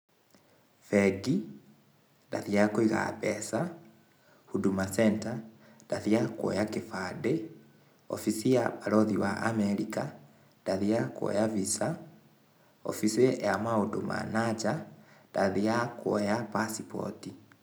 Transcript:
Bengi, ndathiaga kũiga mbeca, Huduma Centre ndathiaga kuoya kĩbandĩ, obici ya barũthi wa Amerika ndathiaga kuoya visa. Obici ya maũndũ ma na nja, ndathiaga passport.